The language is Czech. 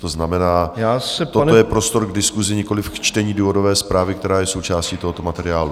To znamená, toto je prostor k diskusi, nikoliv k čtení důvodové zprávy, která je součástí tohoto materiálu.